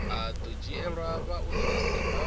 a do dzhielwa vhaofisi vha